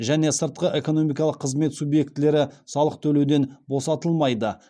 және сыртқы экономикалық қызмет субъектілері салық төлеуден босатылмайды